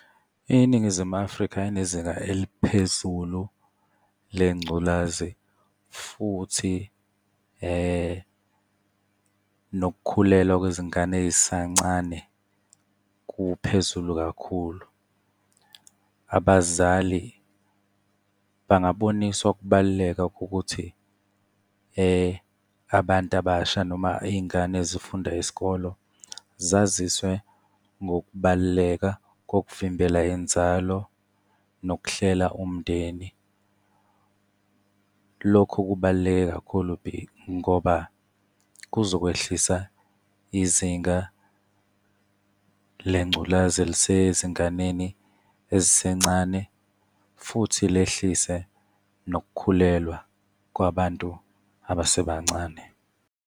INingizimu Afrika inezinga eliphezulu lengculazi, futhi nokukhulelwa kwezingane ezisancane kuphezulu kakhulu. Abazali bangaboniswa ukubaluleka kokuthi abantu abasha noma iy'ngane ezifunda isikolo zaziswe ngokubaluleka kokuvimbela inzalo, nokuhlela umndeni. Lokho kubaluleke kakhulu ngoba kuzokwehlisa izinga lengculazi elisezinganeni ezisencane, futhi lehlise nokukhulelwa kwabantu abasebancane.